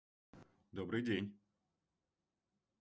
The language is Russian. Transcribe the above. добрый день